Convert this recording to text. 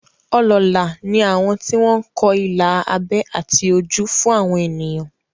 Olóólà ni àwọn tí wọ́n ń kọ ilà abẹ́ àti ojú fún àwọn ènìyàn